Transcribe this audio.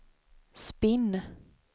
spinn